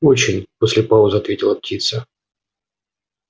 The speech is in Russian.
очень после паузы ответила птица